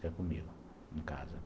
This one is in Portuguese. Fica comigo, em casa.